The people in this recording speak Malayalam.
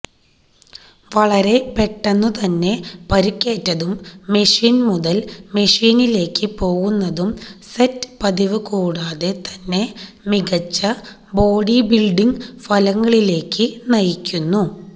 വളരെ പെട്ടെന്നുതന്നെ പരുക്കേറ്റതും മെഷീൻ മുതൽ മെഷീനിലേക്ക് പോകുന്നതും സെറ്റ് പതിവ് കൂടാതെ തന്നെ മികച്ച ബോഡിബിൽഡിംഗ് ഫലങ്ങളിലേക്ക് നയിക്കുന്നു